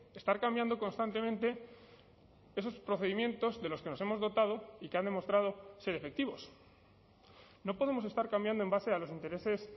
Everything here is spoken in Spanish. estar cambiando constantemente esos procedimientos de los que nos hemos dotado y que han demostrado ser efectivos no podemos estar cambiando en base a los intereses